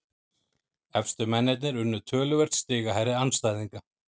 Efstu mennirnir unnu töluvert stigahærri andstæðinga